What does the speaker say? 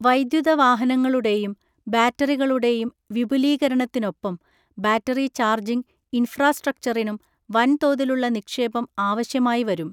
വൈദ്യുത വാഹനങ്ങളുടെയും ബാറ്ററികളുടെയും വിപുലീകരണത്തിനൊപ്പം ബാറ്ററി ചാർജിംഗ് ഇൻഫ്രാസ്ട്രക്ചറിനും വൻതോതിലുള്ള നിക്ഷേപം ആവശ്യമായി വരും.